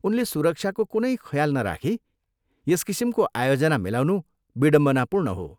उनले सुरक्षाको कुनै ख्याल नराखी यस किसिमको आयोजना मिलाउनु बिडम्बनापूर्ण हो।